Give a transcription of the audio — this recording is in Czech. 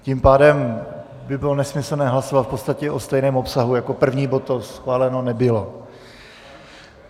Tím pádem by bylo nesmyslné hlasovat v podstatě o stejném obsahu jako první bod, co schváleno nebylo.